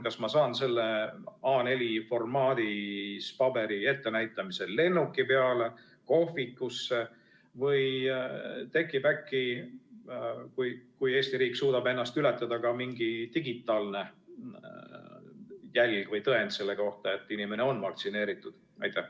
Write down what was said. Kas ma saan selle A4-formaadis paberi ettenäitamisel lennuki peale, kohvikusse või suudab äkki Eesti riik ennast ületada ja tekib ka mingi digitaalne jälg või tõend selle kohta, et inimene on vaktsineeritud?